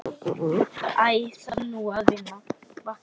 Æ þarf nú að vakna.